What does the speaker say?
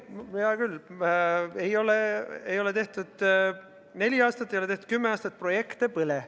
No hea küll, ei ole tehtud neli aastat, ei ole tehtud kümme aastat, projekte pole.